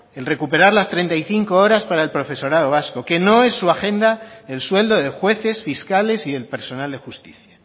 el recuperar las treinta y cinco horas para el profesorado vasco que no es su agenda el sueldo de jueces fiscales y el personal de justicia